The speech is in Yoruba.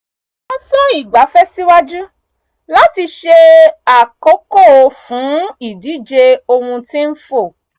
wọ́n sún ìgbafẹ́ síwájú láti ṣe àkókò fún ìdíje ohun tí ń fò